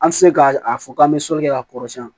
An ti se ka a fɔ k'an be sɔli kɛ k'a kɔrɔsiyɛn